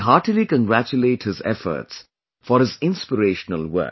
I heartily congratulate his efforts, for his inspirational work